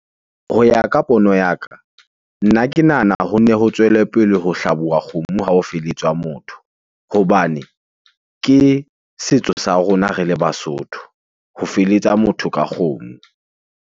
Ho ya ka pono ya ka, nna ke nahana ho nne ho tswele pele ho hlabuwa kgomo b Ha o feletswa motho hobane ke setso sa rona re le Basotho ho feletsa motho ka kgomo.